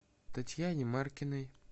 татьяне маркиной